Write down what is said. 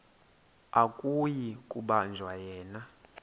akuyi kubanjwa yena